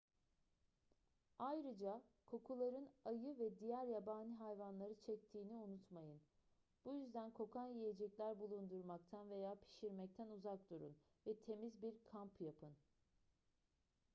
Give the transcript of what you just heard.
ayrıca kokuların ayı ve diğer yabani hayvanları çektiğini unutmayın bu yüzden kokan yiyecekler bulundurmaktan veya pişirmekten uzak durun ve temiz bir kamp yapın